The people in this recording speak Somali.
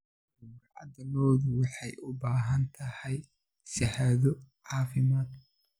Gowracda lo'du waxay u baahan tahay shahaado caafimaad.